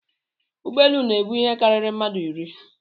Ụgbọelu na-ebu ihe karịrị mmadụ iri